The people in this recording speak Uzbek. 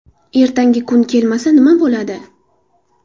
Ertangi kun kelmasa nima bo‘ladi?